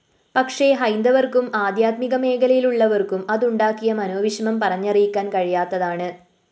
പക്ഷേ ഹൈന്ദവര്‍ക്കും ആധ്യാത്മിക മേഖലയിലുള്ളവര്‍ക്കും അതുണ്ടാക്കിയ മനോവിഷമം പറഞ്ഞറിയിക്കാന്‍ കഴിയാത്തതാണ്‌